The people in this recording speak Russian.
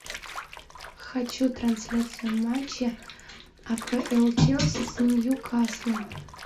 хочу трансляцию матча апл челси с ньюкаслом